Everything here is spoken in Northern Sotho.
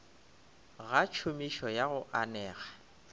ga tšhomišo ya go anega